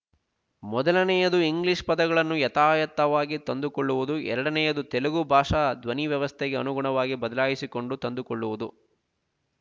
ಮೊದಲನೆಯದು ಇಂಗ್ಲೀಷ್ ಪದಗಳನ್ನು ಯಥಾ ಯಥವಾಗಿ ತಂದುಕೊಳ್ಳುವುದು ಎರಡನೆಯದು ತೆಲುಗು ಭಾಷಾ ಧ್ವನಿವ್ಯವಸ್ಥೆಗೆ ಅನುಗುಣವಾಗಿ ಬದಲಾಯಿಸಿಕೊಂಡು ತಂದುಕೊಳ್ಳುವುದು